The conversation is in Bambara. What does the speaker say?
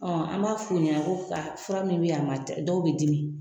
Ɔn b'a f'u ɲɛna ko ka fura min be yan ma ca , dɔw be dimi.